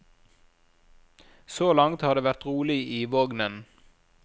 Så langt har det vært rolig i vognen.